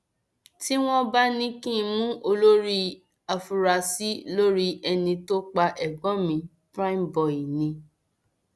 tí wọn bá ní kí n mú olórí afurasí lórí ẹni tó pa ẹgbọn mi primeboy ni